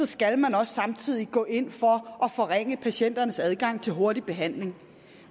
skal man også samtidig gå ind for at forringe patienternes adgang til hurtig behandling